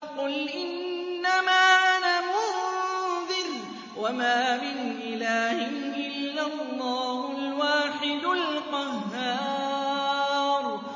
قُلْ إِنَّمَا أَنَا مُنذِرٌ ۖ وَمَا مِنْ إِلَٰهٍ إِلَّا اللَّهُ الْوَاحِدُ الْقَهَّارُ